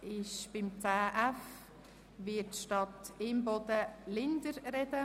Zu 10.f Brückenangebote wird statt Grossrätin Imboden Grossrätin Linder sprechen.